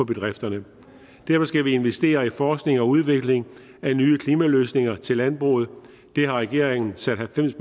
bedrifterne derfor skal vi investere i forskning og udvikling af nye klimaløsninger til landbruget det har regeringen sat halvfems